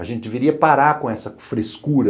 A gente deveria parar com essa frescura